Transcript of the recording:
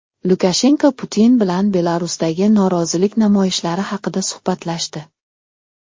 Lukashenko Putin bilan Belarusdagi norozilik namoyishlari haqida suhbatlashdi.